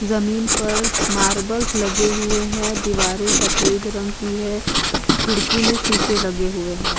जमीन पर मार्बल्स लगे हुए है दिवारे सफेद रंग की है खिड़की में शिशे लगे हुए है।